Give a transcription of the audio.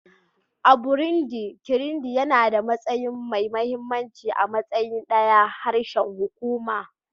A Burundi, Kirundi yana da matsayi mai mahimmanci a matsayin ɗayan harshen hukuma